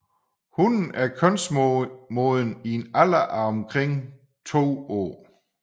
Hunnen er kønsmoden i en alder af omkring to år